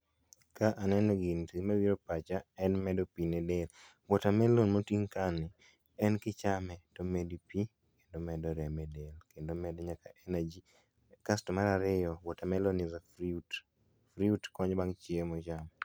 ka aneno gini to gima biro e pacha en medo pi ne del ,water melon moting kani en kichame tomedi pi kendo omedo remo e del kendo omedo nyaka kendo omedo nyaka energy to mar ariyo water melon is a fruit fruit konyo bang chiemo